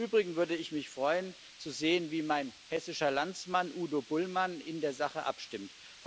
Im Übrigen würde ich mich freuen zu sehen, wie mein hessischer Landsmann Udo Bullmann in der Sache abstimmt.